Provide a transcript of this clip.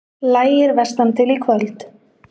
Lægir vestantil Í kvöld